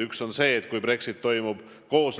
Üks on see, kui Brexit toimub